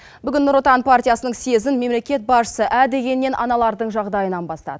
бүгін нұр отан партиясының съезін мемлекет басшысы ә дегеннен аналардың жағдайынан бастады